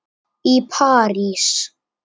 í París.